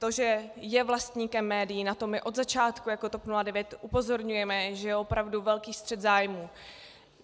To, že je vlastníkem médií, na to my od začátku jako TOP 09 upozorňujeme, že je opravdu velký střet zájmů.